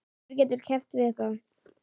Hver getur keppt við það?